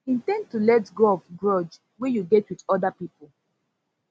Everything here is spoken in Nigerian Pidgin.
in ten d to let go of grudge wey you get with oda pipo